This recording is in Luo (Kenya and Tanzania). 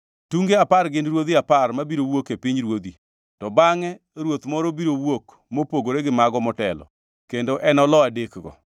Tunge apar gin ruodhi apar mabiro wuok e pinyruodhni. To bangʼ e ruoth moro biro wuok, mopogore gi mago motelo, kendo enolo adekgo.